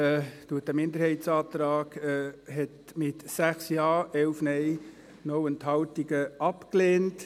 Die GSoK-Mehrheit hat diesen Minderheitsantrag mit 6 Ja, 11 Nein, 0 Enthaltungen abgelehnt.